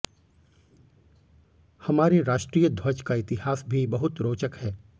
हमारे राष्ट्रीय ध्वज का इतिहास भी बहुत रोचक है